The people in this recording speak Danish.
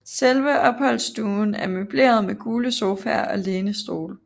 Selve opholdsstuen er møbleret med gule sofaer og lænestole